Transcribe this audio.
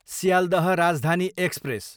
Sealdah Rajdhani express